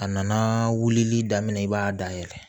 A nana wulili daminɛ i b'a dayɛlɛ